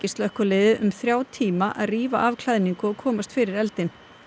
slökkvilið um þrjá tíma að rífa af klæðningu og komast fyrir eldinn